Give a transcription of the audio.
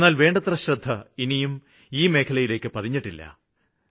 എന്നാല് വേണ്ടത്ര ശ്രദ്ധ ഇനിയും ഈ മേഖലയിലേക്ക് പതിഞ്ഞിട്ടില്ല